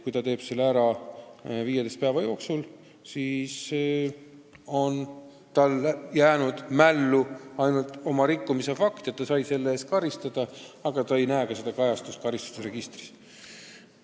Kui ta maksab selle ära 15 päeva jooksul, siis jääb talle mällu ainult oma rikkumise fakt ja et ta sai selle eest karistada, aga ta ei näe selle kajastust karistusregistris.